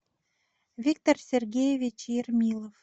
виктор сергеевич ермилов